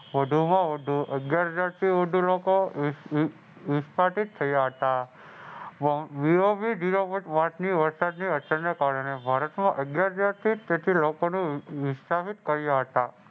વધુમાં વધુ અગિયાર જણથી વધુ લોકો નિષ્કાસિત થયા હતા Zero Point ની હત્યાને કારણે ભારતમાં અગિયાર તેથી લોકો નિષ્કાસિત કર્યા હતા.